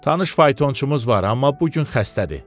Tanış faytonçumuz var, amma bu gün xəstədir.